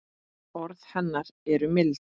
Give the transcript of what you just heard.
Orð hennar eru mild.